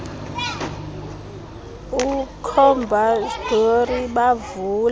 ucobus dowry bavule